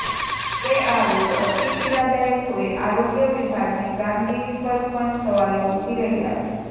ત્યારે આ રોગ અતિ પીડાદાયક હોય આરોગ્ય વિભાગની કામગીરી પર પણ સવાલો ઉઠી રહ્યા છે